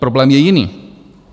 Problém je jiný.